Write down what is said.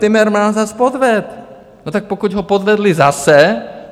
Timmermans vás podvedl - no, tak pokud ho podvedli zase.